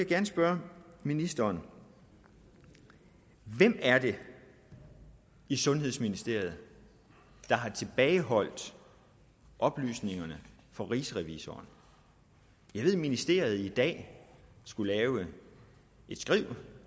gerne spørge ministeren hvem er det i sundhedsministeriet der har tilbageholdt oplysningerne for rigsrevisoren jeg ved at ministeriet i dag skulle lave et skriv